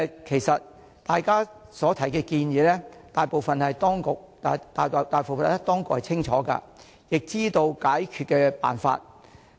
其實，大家提出的建議，大部分當局是清楚的，亦知道解決的辦法。